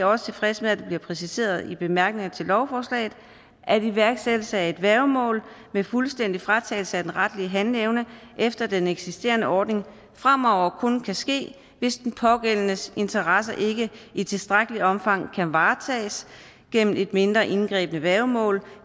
også tilfredse med at det bliver præciseret i bemærkningerne til lovforslaget at iværksættelse af et værgemål med fuldstændig fratagelse af den retlige handleevne efter den eksisterende ordning fremover kun kan ske hvis den pågældendes interesser ikke i tilstrækkeligt omfang kan varetages gennem et mindre indgribende værgemål